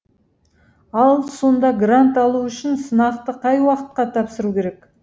ал сонда грант алу үшін сынақты қай уақытқа тапсыру керек